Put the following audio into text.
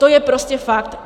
To je prostě fakt.